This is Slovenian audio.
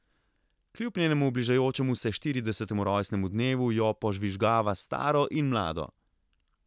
Kljub njenemu bližajočemu se štiridesetemu rojstnemu dnevu jo požvižgava staro in mlado.